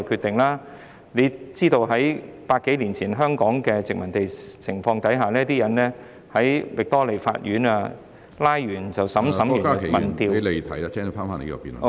大家知道在百多年前香港的殖民地情況下，拘捕人後，便立即在域多利法院審判，審判後便......